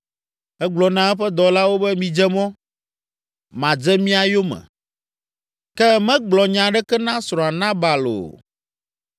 Egblɔ na eƒe dɔlawo be, “Midze mɔ, madze mia yome” Ke megblɔ nya aɖeke na srɔ̃a, Nabal, o.